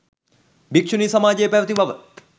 භික්‍ෂුණී සමාජය පැවැති බව